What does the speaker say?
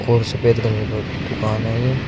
और सफेद कलर का दुकान है ये।